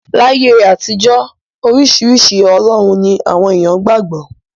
Láyé àtijọ́, oríṣiríṣi ọlọ́run ni àwọn èèyàn qgbà gbọ́.